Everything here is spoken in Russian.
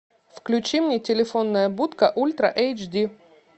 включи мне телефонная будка ультра эйч ди